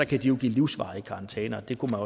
kan de give livsvarige karantæner og det kunne